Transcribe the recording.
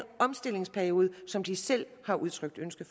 omstillingsperiode som de selv har udtrykt ønske